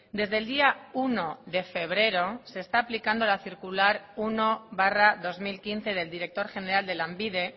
desde el día uno de febrero se está aplicando la circular uno barra dos mil quince del director general de lanbide